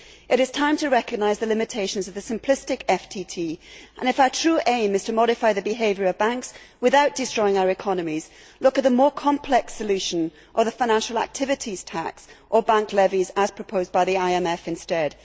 It is time to recognise the limitations of the simplistic FTT and, if our true aim is to modify the behaviour of banks without destroying our economies, look at the more complex solution of a financial activities tax or bank levies as proposed by the IMF instead.